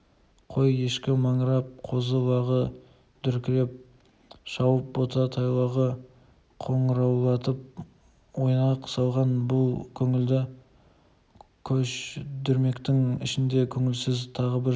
қой-ешкісі маңырап қозы-лағы дүркіреп шауып бота-тайлағы қоңыраулатып ойнақ салған бұл көңілді көш дүрмектің ішінде көңілсіз тағы бір жан